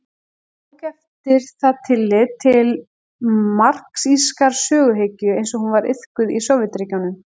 Hann tók eftir það tillit til marxískrar söguhyggju eins og hún var iðkuð í Sovétríkjunum.